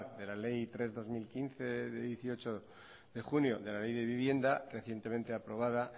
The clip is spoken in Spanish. de la ley tres barra dos mil quince de dieciocho de junio de la ley de vivienda recientemente aprobada